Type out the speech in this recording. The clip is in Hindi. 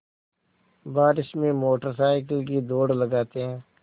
बारिश में मोटर साइकिल की दौड़ लगाते हैं